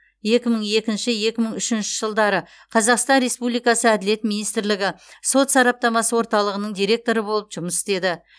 екі мың екінші екі мың үшінші жылдары қазақстан республикасы әділет министрлігі сот сараптамасы орталығының директоры болып жұмыс істеді